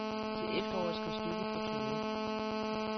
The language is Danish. Til efteråret skal stykket på turne.